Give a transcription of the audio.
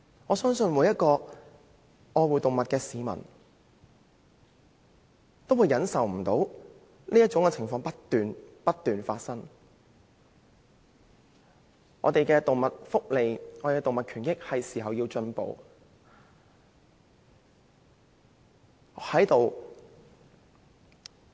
我相信每位愛護動物的市民也不能忍受這種情況，我們的動物福利和權益是時候要進步。